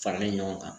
Farali ɲɔgɔn kan